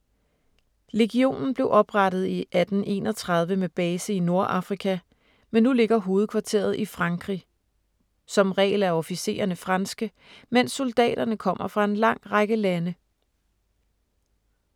Legionen blev oprettet i 1831 med base i Nordafrika, men nu ligger hovedkvarteret i Frankrig. Som regel er officererne franske, mens soldaterne kommer fra en lang række lande.